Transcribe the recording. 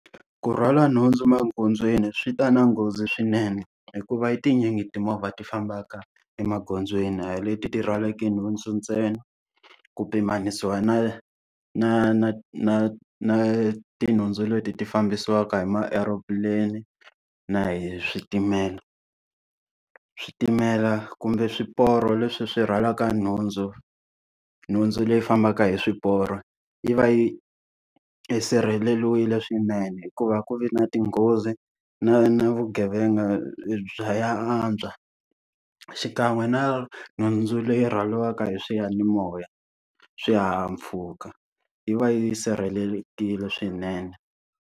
Ku rhwala nhundzu emagondzweni swi ta na nghozi swinene hikuva i tinyingi timovha ti fambaka emagondzweni a hi leti ti rhwalaku nhundzu ntsena. Ku pimanisiwa na na na na na tinhundzu leti ti fambisiwaka hi ma-aero plane-i na hi switimela. Switimela kumbe swiporo leswi swi rhwalaka nhundzu nhundzu leyi fambaka hi swiporo yi va yi sirheleriwile swinene hikuva a ku vi na ti nghozi, na na vugevenga bya ya antswa. Xikan'we na nhundzu leyi rhwariwaka hi swiyanimoya swihahampfhuka yi va yi sirhelelekile swinene.